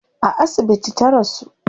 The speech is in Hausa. A asibiti ta rasu